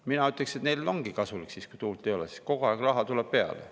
Mina ütleksin, et neile ongi kasulik see, kui tuult ei ole – siis kogu aeg raha tuleb peale.